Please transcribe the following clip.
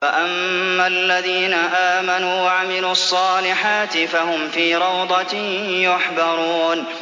فَأَمَّا الَّذِينَ آمَنُوا وَعَمِلُوا الصَّالِحَاتِ فَهُمْ فِي رَوْضَةٍ يُحْبَرُونَ